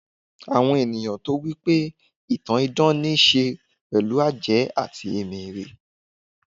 àwọn ènìyàn tó wipe ìtàn idán n'isẹ pẹlu àjẹ́ ati emere